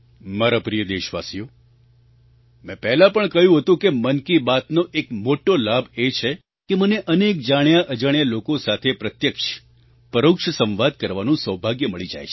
મારા પ્રિય દેશવાસીઓ મેં પહેલાં પણ કહ્યું હતું કે મન કી બાતનો એક મોટો લાભ એ છે કે મને અનેક જાણ્યાઅજાણ્યા લોકો સાથે પ્રત્યક્ષપરોક્ષ સંવાદ કરવાનું સૌભાગ્ય મળી જાય છે